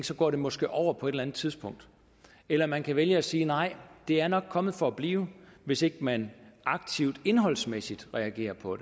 så går det måske over på et eller andet tidspunkt eller man kan vælge at sige nej det er nok kommet for blive hvis ikke man aktivt indholdsmæssigt reagerer på